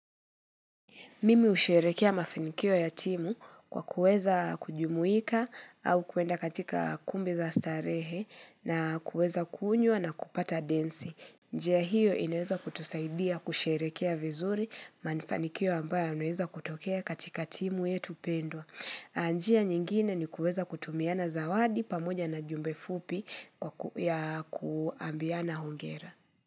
Mimi husherehekia mafanikio ya timu kwa kuweza kujumuika au kuenda katika kumbi za starehe na kuweza kunywa na kupata densi. Njia hiyo inaweza kutusaidia kusherehekia vizuri mafanikio ambayo yanaweza kutokea katika timu yetu pendwa. Njia nyingine ni kuweza kutumiana zawadi pamoja na jumbe fupi ya kuambiana hongera.